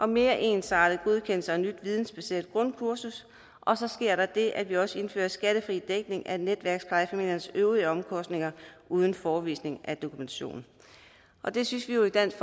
mere ensartet godkendelse og et nyt vidensbaseret grundkursus og så sker der det at vi også indfører skattefri dækning af netværksplejefamiliernes øvrige omkostninger uden forevisning af dokumentation det synes vi jo i dansk